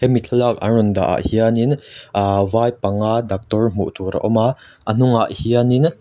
hemi thlalak an rawn dah ah hianin ahh vai panga daktawr hmuh tur a awm a a hnungah hianin--